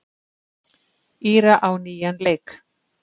Íra á nýjan leik.